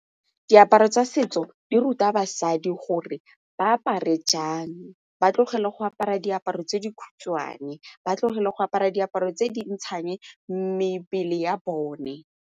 Diaparo tsa setso di ruta basadi gore ba apare jang, ba tlogele go apara diaparo tse di khutshwane, ba tlogele go apara diaparo tse di ntshang mebele ya bone.